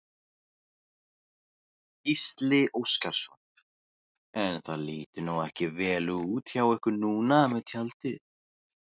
Gísli Óskarsson: En það lítur nú ekki vel út hjá ykkur núna með tjaldið?